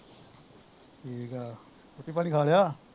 ਠੀਕ ਆ ਰੋਟੀ ਪਾਣੀ ਖਾ ਲਿਆ